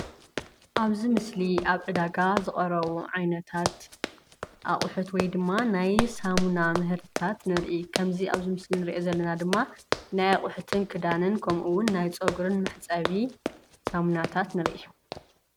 አብዚ ምስሊ አብ ዕዳጋ ዝቀረቡ ዓይነታት አቑሑት ወይ ድማ ናይ ሳሙና ምህርትታት ንሪኢ ከመዚ አብዚ ምሰሊ ንሪኦ ዘለና ድማ ናይ አቁሑትን ክዳንን ከምኡ እውን ናይ ፀጉሪ መሕፀቢ ሳሙናታት ንሪኢ፡፡